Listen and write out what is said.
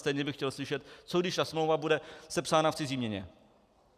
Stejně bych chtěl slyšet, co když ta smlouva bude sepsána v cizí měně?